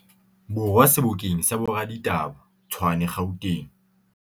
Borwa sebokeng sa boraditaba, Tshwane, Gauteng.